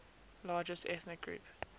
largest ethnic group